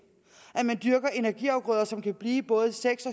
at man dyrker energiafgrøder som kan blive både seks